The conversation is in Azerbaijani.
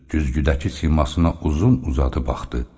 Güzgüdəki simasına uzun-uzadı baxdı.